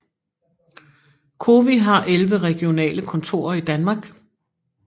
COWI har 11 regionale kontorer i Danmark